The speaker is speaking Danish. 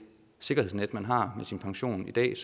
sikkerhedsnet man har med sin pension i dag